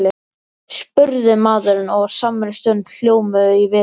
spurði maðurinn og á samri stundu hljómuðu í vitund